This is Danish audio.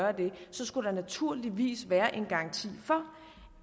er det så skulle der naturligvis være en garanti for